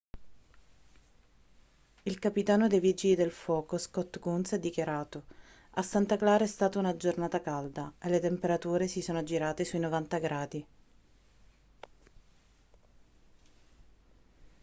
il capitano dei vigili del fuoco scott kouns ha dichiarato a santa clara è stata una giornata calda e le temperature si sono aggirate sui 90 gradi